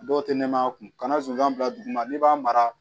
Dɔw tɛ nɛmaya kun kana zonzan bila dugu ma n'i b'a mara